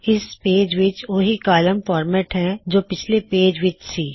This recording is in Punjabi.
ਇਸ ਪੇਜ ਵਿੱਚ ਓਹੀ ਕੌਲਮ ਫਾਰਮੈਟ ਹੈ ਜੋ ਪਿਛਲੇ ਪੇਜ ਵਿੱਚ ਸੀ